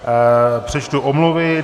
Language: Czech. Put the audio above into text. Přečtu omluvy.